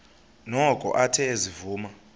noko athe ezivuma